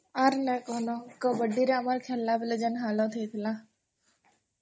Pending